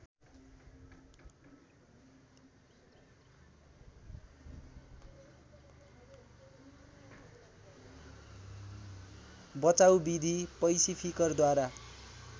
बचाउ विधि पैसिफिकरद्वारा